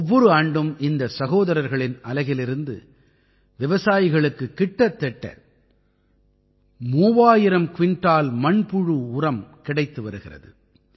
ஒவ்வொரு ஆண்டும் இந்தச் சகோதரர்களின் அலகிலிருந்து விவசாயிகளுக்குக் கிட்டத்தட்ட 3000 குவிண்டால் மண்புழு உரம் கிடைத்து வருகிறது